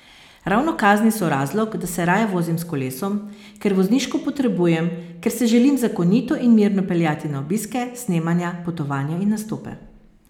Ravno kazni so razlog, da se raje vozim s kolesom, ker vozniško potrebujem, ker se želim zakonito in mirno peljati na obiske, snemanja, potovanja in nastope.